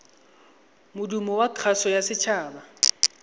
modumo wa kgaso ya setshaba